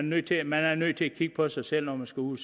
nødt til man er nødt til at kigge på sig selv når man skal ud